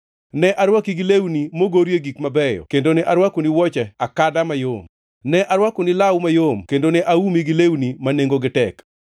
Ne arwaki gi lewni mogorie gik mabeyo kendo ne arwakoni wuoche akada mayom. Ne arwakoni law mayom kendo ne aumi gi lewni ma nengogi tek.